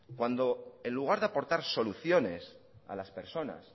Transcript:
cuando en lugar de aportar soluciones a las personas